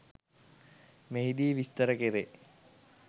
මෙහිදී විස්තර කෙරේ.